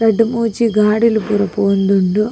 ರಡ್ಡ್ ಮೂಜಿ ಗಾಡಿಲ್ ಪೂರ ಪೋವೊಂದುಂಡು.